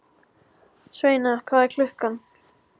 Sveina, hvað er klukkan?